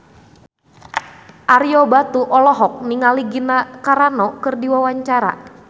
Ario Batu olohok ningali Gina Carano keur diwawancara